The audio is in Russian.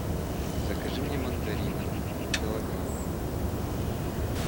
закажи мне мандаринов килограмм